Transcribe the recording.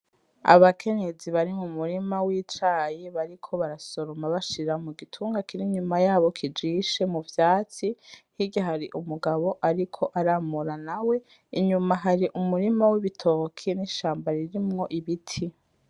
Abakenyezi bari mu murima w'icayi bariko barasoroma bashira mu gitunga kinini inyuma yabo kijishe mu vyatsi, hirya hari umugabo ariko aramura nawe inyuma hari umurima w'ibitoke n'ishamba ririmwo ibiti.